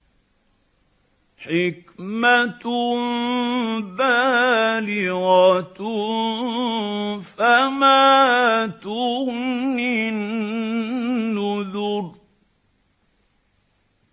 حِكْمَةٌ بَالِغَةٌ ۖ فَمَا تُغْنِ النُّذُرُ